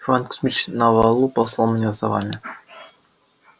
иван кузмич на валу и послал меня за вами